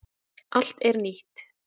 Allt er nýtt.